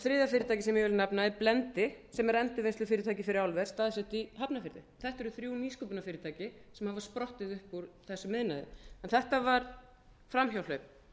þriðja fyrirtækið sem ég vil nefna er blendi sem er endurvinnslufyrirtæki fyrir álver staðsett í hafnarfirði þetta eru þrjú nýsköpunarfyrirtæki sem hafa sprottið upp úr þessum iðnaði þetta var framhjáhlaup